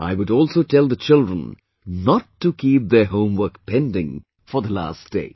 I would also tell the children not to keep their homework pending for the last day